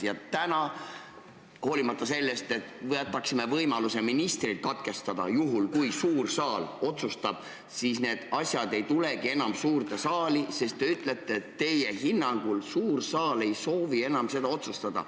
Ja täna, hoolimata sellest, et me võtaksime võimaluse ministrit katkestada – kui suur saal nii otsustab –, need asjad ei tulegi enam suurde saali, sest te ütlete, et teie hinnangul suur saal ei soovi enam seda otsustada.